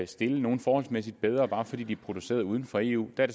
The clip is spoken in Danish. stille nogle forholdsmæssigt bedre bare fordi de er produceret uden for eu det er